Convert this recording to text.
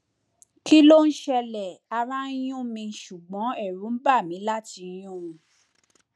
kí ló ń ṣẹlẹ ara ń yún mi ṣùgbọn ẹrù ń bà mí láti yún un